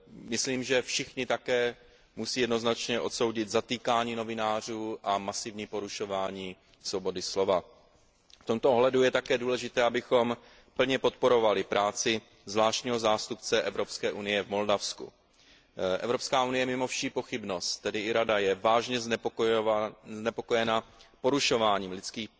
Myslím, že všichni také musí jednoznačně odsoudit zatýkání novinářů a masivní porušování svobody slova. V tomto ohledu je také důležité, abychom plně podporovali práci zvláštního zástupce Evropské unie v Moldavsku. Je mimo vší pochybnost, že Evropská unie, tedy i Rada, je vážně znepokojena porušováním lidských